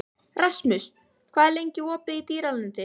Rasmus, hvað er lengi opið í Dýralandi?